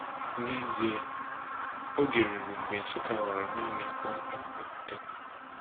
N’ezie, oge ruru mgbe Nsukka ghọrọ naanị mkpokọ okwute.